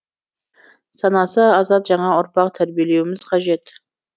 санасы азат жаңа ұрпақ тәрбиелеуіміз қажет